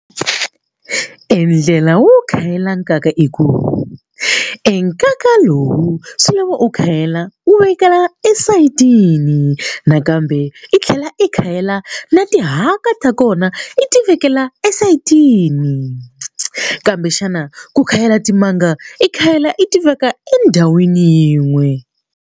E ndlela wo khayela nkaka i ku e nkaka lowu swi lava u khayela u vekela esayitini nakambe i tlhela i khayela na tihaka ta kona i ti vekela esayitini kambe xana ku khayela timanga i khayela i ti veka endhawini yin'we.